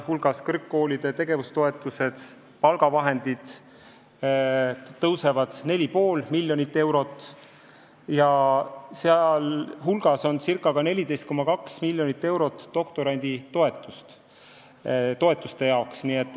Palgafond kasvab 4,5 miljonit eurot ja selles on ca 14,2 miljonit eurot ka doktoranditoetusteks.